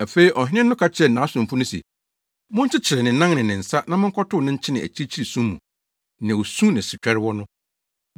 “Afei ɔhene no ka kyerɛɛ nʼasomfo no se, ‘Monkyekyere ne nan ne ne nsa na monkɔtow no nkyene akyirikyiri sum mu, nea osu ne setwɛre wɔ no.’